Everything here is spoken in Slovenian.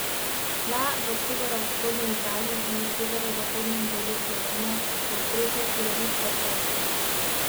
Tla v severovzhodni Italiji in severozahodnem delu Slovenije je stresel silovit potres.